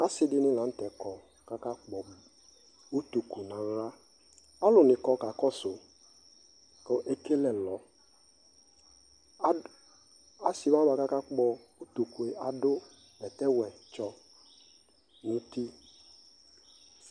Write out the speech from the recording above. ɔsiidi ni lantɛ ₵kɔ kʋ aka kpɔ ʋtʋkʋ nʋ ala, alʋ nikɔ kakɔsʋ kʋ ɛkɛlɛ ɛlɔ, asii wani kʋ aka kpɔ ʋtʋkʋɛ adʋ bɛtɛ wɛ tsɔ nʋ ʋti